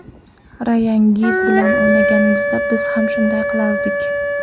Rayan Giggz bilan o‘ynaganimizda, biz ham shunday qilardik.